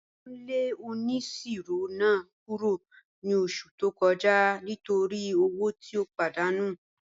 Wọn lẹ ọniṣirọ̀ náà kúrọ̀ ni ọṣù tó kọja nítorí ọwọ̀ tí ó pàdánù